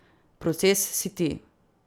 Proces si ti.